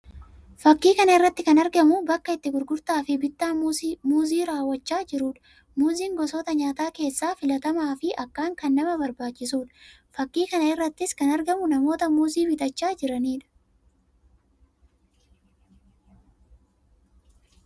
Fakkii kana irratti kan argamu bakka itti gurgurtaa fi bittaan muuzii raawwachaa jiruu dha. Muuziin gosoota nyaataa keessaa filatamaa fi akkaan kan nama barbaachisuu dha. Fakkii kana irrattis kan argamu namoota muuzii bitachaa jiranii dha.